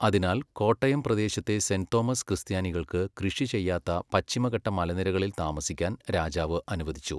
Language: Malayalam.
അതിനാൽ, കോട്ടയം പ്രദേശത്തെ സെന്റ് തോമസ് ക്രിസ്ത്യാനികൾക്ക് കൃഷി ചെയ്യാത്ത പശ്ചിമഘട്ട മലനിരകളിൽ താമസിക്കാൻ രാജാവ് അനുവദിച്ചു.